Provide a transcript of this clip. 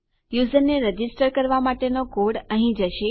યુઝરને રજીસ્ટર કરવા માટેનો કોડ અહીં જશે